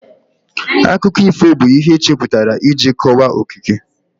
Akụkọ ifo bụ ihe echepụtara iji kọwaa okike